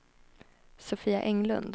Sofia Englund